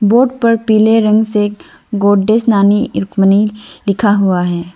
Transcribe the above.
Board पर पीले रंग से गोडेस नानी रुक्मणी लिखा हुआ है।